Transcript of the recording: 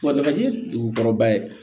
Wa dagaji dugu kɔrɔba ye